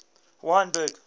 wynberg